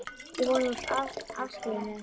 Ég vona að þú afskrifir mig ekki.